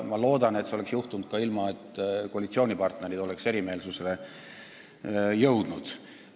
Ma loodan, et see oleks juhtunud ka siis, kui koalitsioonipartnerid ei oleks erimeelsuseni jõudnud.